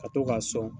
Ka to k'a sɔn